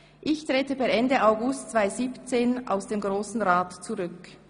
«Ich trete per Ende August 2017 aus dem Grossen Rat zurück.